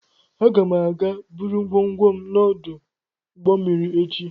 Aga m aga buru ngwongwo m n'ọdụ ụgbọ mmiri echi